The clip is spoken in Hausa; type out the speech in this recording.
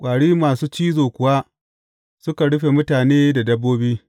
Ƙwari masu cizo kuwa suka rufe mutane da dabbobi.